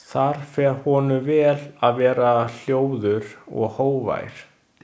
Það fer honum vel að vera hljóður og hógvær.